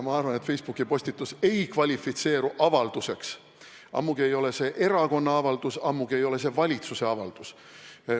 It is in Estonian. Ma arvan, et Facebooki postitus ei kvalifitseeru avalduseks, ammugi ei ole see erakonna avaldus, ammugi ei ole see valitsuse avaldus.